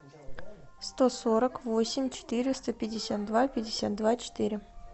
сто сорок восемь четыреста пятьдесят два пятьдесят два четыре